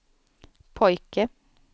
pojke